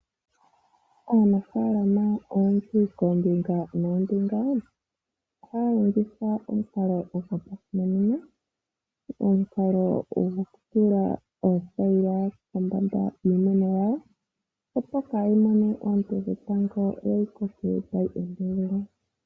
Aanafaalama oyendji koombinga noombinga ohaya longitha omukalo goku kuna. Omukalo gokutula oothayila kombanda yiimeno opo kaayi mone oonte dhetango yo yi koke tayi endelele.